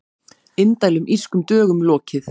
Indælum Írskum dögum lokið